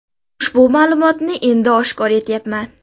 Ushbu ma’lumotni endi oshkor etayapman.